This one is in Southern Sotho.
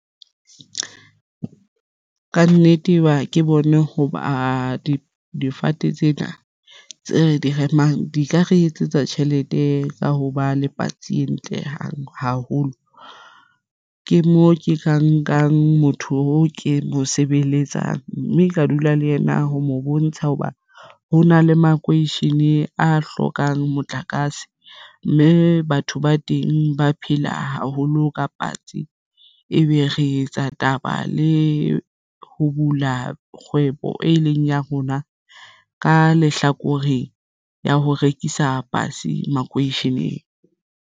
Ka nnete ba ke bone hoba difate tsena tse re di remang di ka re etsetsa tjhelete ka ho ba le patsi e ntle haholo. Ke mo ke ka nkang motho o ke mo sebeletsang mme ka dula le yena ho mo bontsha hoba hona le makeishene a hlokang motlakase, mme batho ba teng ba haholo ka patsi ebe re etsa taba le ho bula kgwebo e leng ya rona ka lehlakoreng ya ho rekisa patsi makweisheneng.